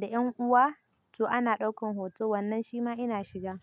da ƴan uwa. To ana ɗaukan hoto wannan shi ma ina shiga.